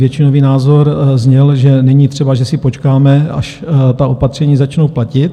Většinový názor zněl, že není třeba, že si počkáme, až ta opatření začnou platit.